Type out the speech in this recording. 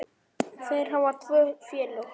Þeir hafa tvö félög.